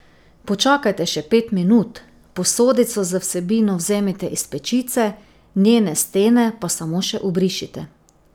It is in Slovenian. Počakajte še pet minut, posodico z vsebino vzemite iz pečice, njene stene pa samo še obrišite.